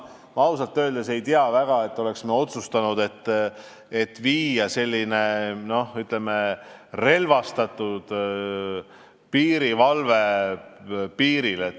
Ma ausalt öeldes, ei tea, et me oleksime otsustanud, et viia selline, ütleme, relvastatud valve piirile.